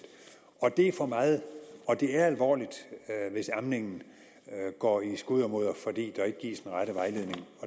det er for meget og det er alvorligt hvis amningen går i skuddermudder fordi der ikke gives den rette vejledning